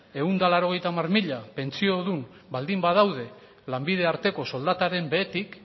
ehun eta laurogeita hamar mila pentsiodun baldin badaude lanbide arteko soldataren behetik